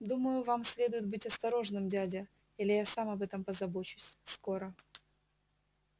думаю вам следует быть осторожным дядя или я сам об этом позабочусь скоро